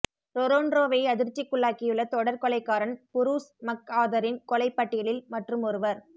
ரொறொன்ரோவை அதிர்ச்சிக்குள்ளாக்கியுள்ள தொடர் கொலை காரன் புறூஸ் மக்ஆதரின் கொலை பட்டியலில் மற்றுமொருவர்